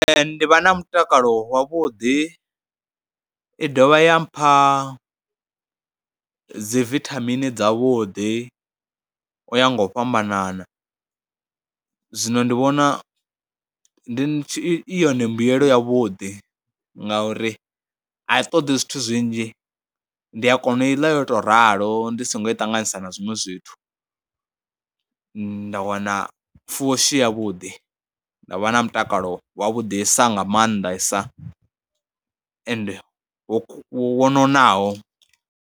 Ndi vha na mutakalo wavhuḓi, i dovha ya mpha dzi vithamini dzavhuḓi u ya nga u fhambanana. Zwino ndi vhona ndi i yone mbuyelo yavhuḓi ngauri a i ṱoḓi zwithu zwinzhi, ndi a kona u i ḽa yo tou ralo ndi songo i ṱanganisa na zwiṅwe zwithu zwinzhi. Nda wana fushi yavhuḓi, nda vha na mutakalo wavhudisa nga maanḓa i sa and wo ku, wo nonaho.